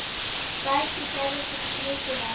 Bæði gerðir þú mikið af.